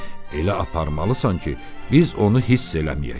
Elə aparmalısan ki, biz onu hiss eləməyək.